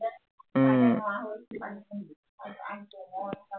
উম